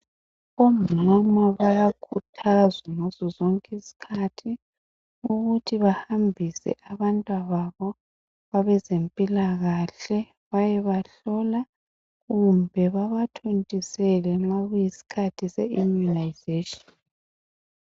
Omama bayakhuthazwa ngazo zonke izikhathi ukuthi behambise abantwababo kwabezempilakahle bayebahlola kumbe babathontisele nxa kuyisikhathi seimmunisation.